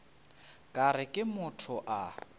ka re ke motho a